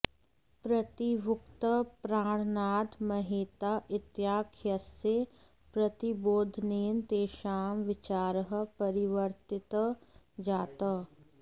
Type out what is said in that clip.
प्रतिवक्तुः प्राणनाथ महेता इत्याख्यस्य प्रतिबोधनेन तेषां विचारः परिवर्तितः जातः